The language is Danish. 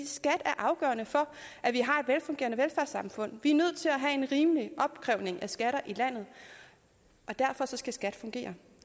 skat er afgørende for at vi har et velfungerende velfærdssamfund vi er nødt til at have en rimelig opkrævning af skatter i landet og derfor skal skat fungere